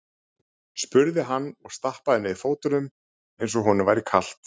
spurði hann og stappaði niður fótunum eins og honum væri kalt.